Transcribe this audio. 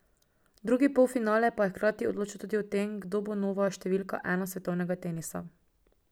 Drugi polfinale pa je hkrati odločal tudi o tem, kdo bo nova številka ena svetovnega tenisa.